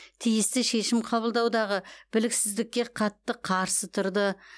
тиісті шешім қабылдаудағы біліксіздікке қатаң қарсы тұрды